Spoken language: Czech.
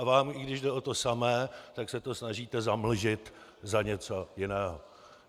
A vám, i když jde o to samé, tak se to snažíte zamlžit za něco jiného.